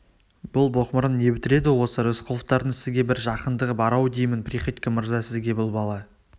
бұл боқмұрын не бітіреді осы рысқұловтардың сізге бір жақындығы бар-ау деймін приходько мырза сізге бұл бала